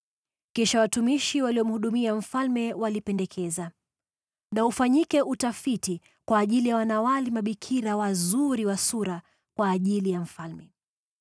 Kisha watumishi waliomhudumia mfalme walipendekeza, “Na ufanyike utafiti kwa ajili ya wanawali mabikira wazuri wa sura kwa ajili ya mfalme.